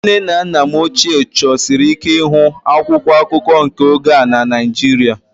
Nne na nna m ochie chọsiri ike ịhụ akwụkwọ akụkọ nke oge a na Naịjirịa